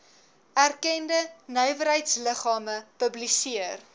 erkende nywerheidsliggame publiseer